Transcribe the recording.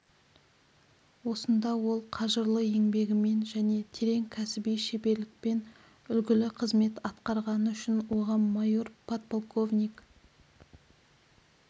осында ол қажырлы еңбегімен жне терең кәсіби шеберлікпен үлгілі қызмет атқарғаны үшін оған майор подполковник